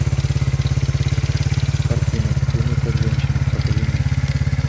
картина думай как женщина покажи мне